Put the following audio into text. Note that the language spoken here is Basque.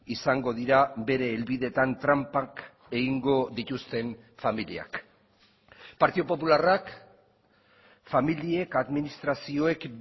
izango dira bere helbideetan tranpak egingo dituzten familiak partidu popularrak familiek administrazioek